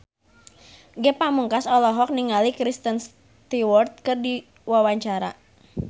Ge Pamungkas olohok ningali Kristen Stewart keur diwawancara